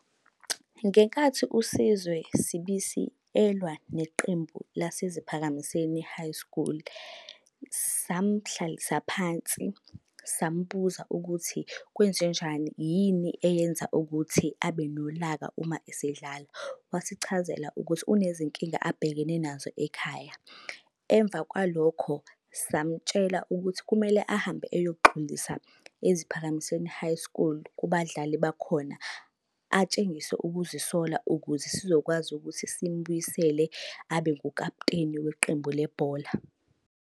Ngenkathi uSizwe Sibisi elwa neqembu laseZiphakamiseni High School, samuhlalisa phansi, samubuza ukuthi kwenzenjani, yini eyenza ukuthi abe nolaka uma esedlala? Wasichazela ukuthi unezinkinga abhekene nazo ekhaya. Emva kwalokho samtshela ukuthi kumele ahambe eyoxolisa eZiphakamiseni High School, kubadlali bakhona. Atshengise ukuzisola ukuze sizokwazi ukuthi simubuyisele abe ngukaputeni weqembu lebhola.